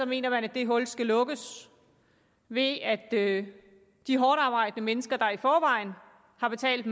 mener man at det hul skal lukkes ved at de hårdtarbejdende mennesker der i forvejen har betalt